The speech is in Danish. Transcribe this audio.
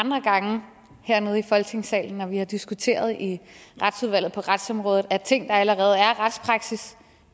andre gange hernede i folketingssalen når vi har diskuteret i retsudvalget og på retsområdet at ting der allerede er retspraksis